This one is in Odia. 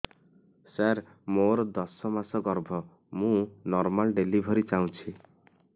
ସାର ମୋର ଦଶ ମାସ ଗର୍ଭ ମୁ ନର୍ମାଲ ଡେଲିଭରୀ ଚାହୁଁଛି